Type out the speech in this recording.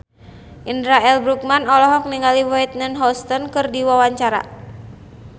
Indra L. Bruggman olohok ningali Whitney Houston keur diwawancara